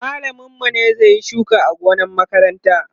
mallamin mu ne zai Yi shuka a gonan makaranta